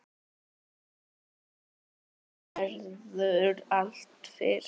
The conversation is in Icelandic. Einu sinni verður allt fyrst.